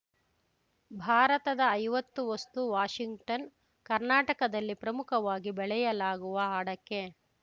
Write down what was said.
ಭಾರತದ ಐವತ್ತು ವಸ್ತು ವಾಷಿಂಗ್ಟನ್‌ ಕರ್ನಾಟಕದಲ್ಲಿ ಪ್ರಮುಖವಾಗಿ ಬೆಳೆಯಲಾಗುವ ಅಡಕೆ